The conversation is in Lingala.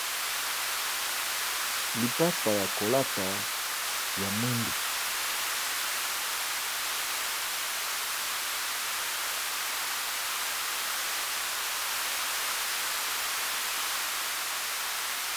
Lipapa ya kolata ya mwindu.